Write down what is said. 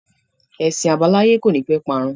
Ẹṣin àbáláyé kò ní pẹ́ parun